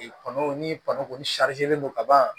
Kɔnɔ ni kɔnɔ kɔni len don ka ban